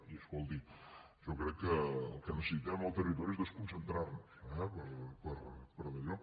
i escolti jo crec que el que necessitem al territori és desconcentrar nos eh per dallò